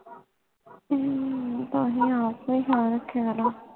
ਹਮ ਤਾਹਿ ਆਪ ਵੀ ਪਾ ਰਖ੍ਯਾ ਨਾ